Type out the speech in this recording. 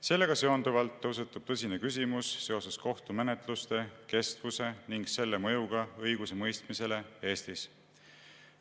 Sellega seonduvalt tõusetub tõsine küsimus seoses kohtumenetluste kestvuse ning selle mõjuga õigusemõistmisele Eestis.